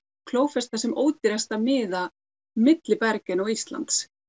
klófesta sem ódýrasta miða milli Bergen og Íslands